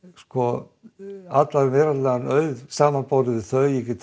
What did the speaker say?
á allan veraldlegan auð í samanburði við þau get